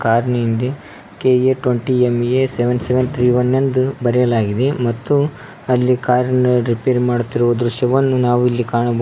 Car ನಿಂದೆ K A twenty M A ಇಂದು ಬರೆಯಲಾಗಿದೆ ಮತ್ತು ಅಲ್ಲಿ ಕಾರಿ ನ ರಿಪೇರಿ ಮಾಡುತ್ತಿರುವ ದೃಶ್ಯವನ್ನು ನಾವು ಇಲ್ಲಿ ಕಾಣಬಹುದು.